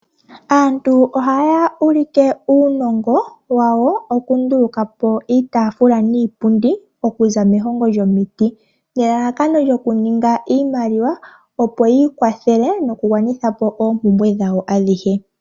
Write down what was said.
Aantu ohaya ulike uunongo wawo okunduluka po iitaafula niipundi okuza mehongo lyomiti nelalakano yokuninga iimaliwa opo yi ikwathele nokugwanitha po oompumbwe dhawo adhihe.